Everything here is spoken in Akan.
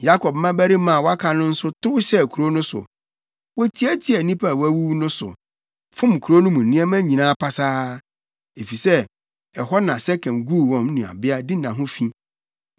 Yakob mmabarima a wɔaka no nso tow hyɛɛ kurow no so. Wotiatiaa nnipa a wɔawuwu no so, fom kurow no mu nneɛma nyinaa pasaa, efisɛ ɛhɔ na Sekem guu wɔn nuabea Dina ho fi.